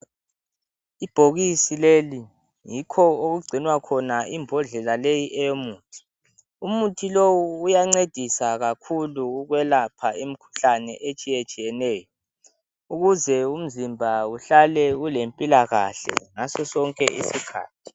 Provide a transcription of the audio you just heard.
Ibhokisi leli yikho lapho okugcinwa khona imbodlela eyomuthi umuthi lowu uyancedisa kakhulu ekuyelapheni emkhuhlaneni etshiyatshiyeneyo ukuze umzimba uhlale ule mpilakahle ngaso sonke isikhathi